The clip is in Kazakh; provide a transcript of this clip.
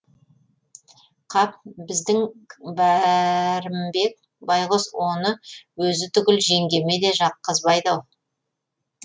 қап біздің бәрімбек байғұс оны өзі түгіл жеңгеме де жаққызбайды ау